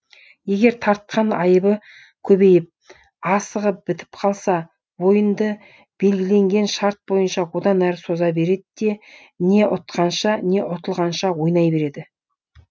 егер тартқан айыбы көбейіп асығы бітіп қалса ойынды белгіленген шарт бойынша одан әрі соза береді де не ұтқанша не ұтылғанша ойнай береді